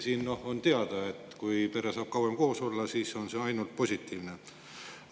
Ka on teada, et kui pere saab kauem koos olla, on see ainult positiivne.